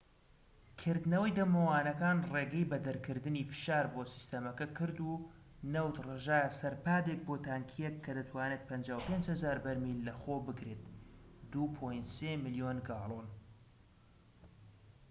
کردنەوەی دەمەوانەکان ڕێگەی بە دەرکردنی فشار بۆ سیستەمەکە کرد و نەوت ڕژایە سەر پادێک بۆ تانکیەک کە دەتوانێت 55,000 بەرمیل لەخۆ بگرێت 2.3 ملیۆن گاڵۆن